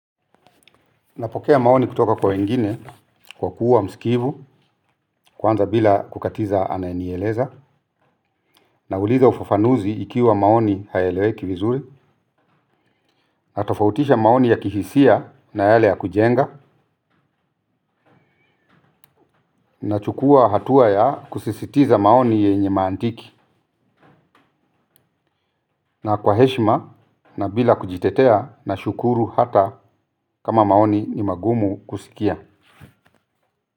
Napokea maoni kutoka kwa wengine, kwa kuwa msikivu, kwanza bila kukatiza anayenieleza, nauliza ufafanuzi ikiwa maoni hayaeleweki vizuri, natofautisha maoni ya kihisia na yale ya kujenga, nachukuwa hatua ya kusisitiza maoni yenye mantiki, na kwa heshima, na bila kujitetea, nashukuru hata kama maoni ni magumu kusikia.